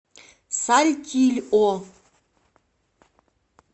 сальтильо